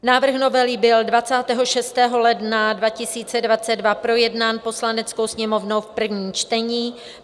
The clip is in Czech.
Návrh novely byl 26. ledna 2022 projednán Poslaneckou sněmovnou v prvním čtení.